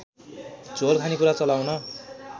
झोल खानेकुरा चलाउन